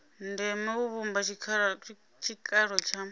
ndeme u vhumba tshikalo tsha